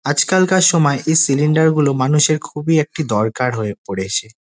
আজকাল কার সময় এই সিলিন্ডার গুলো মানুষের খুবই একটি দরকার হয়ে পড়েছে।